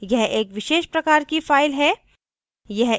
यह एक विशेष प्रकार की फ़ाइल है